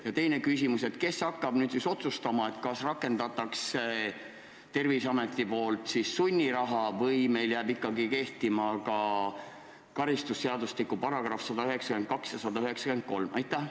Ja teine küsimus: kes hakkab otsustama näiteks selle üle, kas Terviseamet rakendab sunniraha või jäävad meil ikkagi kehtima karistusseadustiku §-d 192 ja 193?